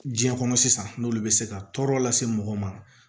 Diɲɛ kɔnɔ sisan n'olu be se ka tɔɔrɔ lase mɔgɔ ma